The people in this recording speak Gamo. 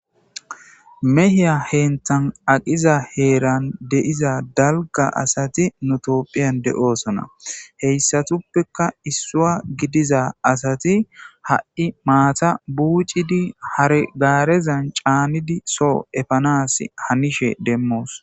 Mehiya henthan aqiza heeran deiza dalga asati nutopphiyan de7oosona heyssatuppeka issua gidiza asati ha7i maata buucidi hargaarezan caanidi soo efanas hanishe demmoos